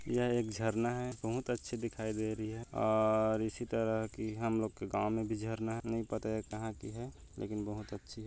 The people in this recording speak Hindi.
यह एक झरना है बहोत अच्छी दिखाई दे रही है और इसी तरह की हम लोग के गांव में भी झरना नहीं पता हैं कहाँ की है लेकिन बहोत अच्छी हैं।